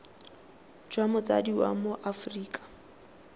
jwa motsadi wa mo aforika